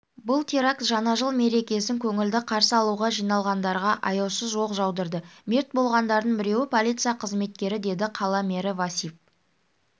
бұл теракт жаңа жыл мерекесін көңілді қарсы алуға жиналғандарға аяусыз оқ жаудырды мерт болғандардың біреуі полиция қызметкері деді қала мэрі васип